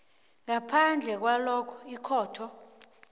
ngaphandle kwalokha ikhotho